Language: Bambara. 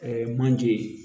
manje